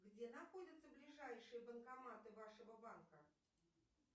где находятся ближайшие банкоматы вашего банка